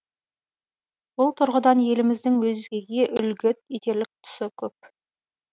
бұл тұрғыдан еліміздің өзгеге үлгі етерлік тұсы көп